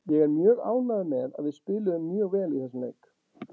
Ég er mjög ánægður með að við spiluðum mjög vel í þessum leik